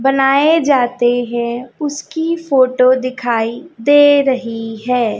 बनाए जाते हैं उसकी फोटो दिखाई दे रही है।